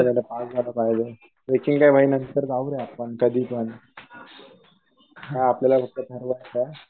एक्झामला pass झालं पाहिजे. Trekking काय भाई नंतर जाऊया आपण कधीपण. हाआपल्याला फक्त